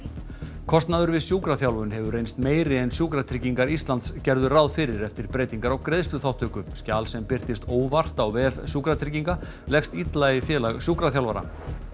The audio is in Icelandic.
kostnaður við sjúkraþjálfun hefur reynst meiri en Sjúkratryggingar Íslands gerðu ráð fyrir eftir breytingar á greiðsluþátttöku skjal sem birtist óvart á vef Sjúkratrygginga leggst illa í Félag sjúkraþjálfara